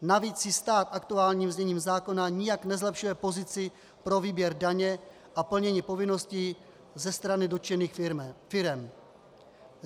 Navíc si stát aktuálním zněním zákona nijak nezlepšuje pozici pro výběr daně a plnění povinností ze strany dotčených firem.